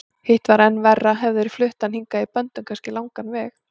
Hitt var enn verra, hefðu þeir flutt hann hingað í böndum, kannski langan veg.